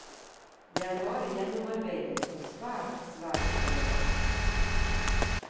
Det er bare gjennomarbeidet og svært, svært elegant.